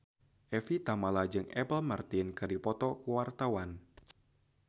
Evie Tamala jeung Apple Martin keur dipoto ku wartawan